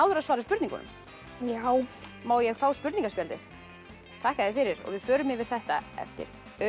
að svara spurningunum já má ég fá spurningaspjaldið þakka þér fyrir og við förum yfir þetta eftir